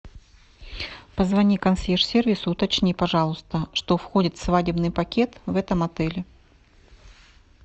позвони консьерж сервису уточни пожалуйста что входит в свадебный пакет в этом отеле